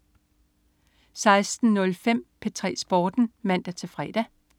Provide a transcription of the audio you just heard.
16.05 P3 Sporten (man-fre)